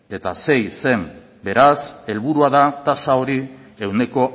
koma sei zen beraz helburua da tasa hori ehuneko